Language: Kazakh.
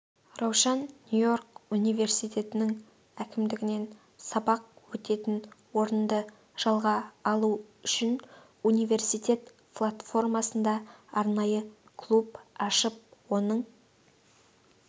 раушан нью-йорк университетінің әкімдігінен сабақ өтетін орынды жалға алу үшін университет платформасында арнайы клуб ашып оның